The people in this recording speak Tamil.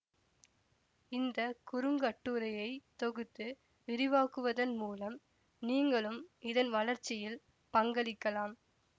இந்த குறுங்கட்டுரையை தொகுத்து விரிவாக்குவதன் மூலம் நீங்களும் இதன் வளர்ச்சியில் பங்களிக்கலாம்